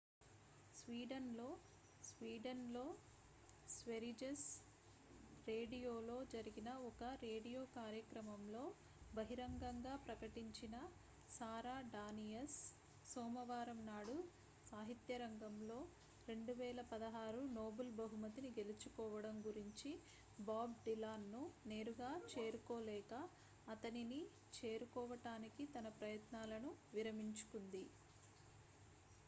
Sweden లో Sweden లో స్వెరిజెస్ రేడియోలో జరిగిన ఒక రేడియో కార్యక్రమంలో బహిరంగంగా ప్రకటించిన సారా డానియస్ సోమవారం నాడు సాహిత్యరంగంలో 2016 నోబెల్ బహుమతిని గెలుచుకోవడం గురించి బాబ్ డిలాన్ ను నేరుగా చేరుకోలేక అతనిని చేరుకోవటానికి తన ప్రయత్నాలను విరమించుకుంది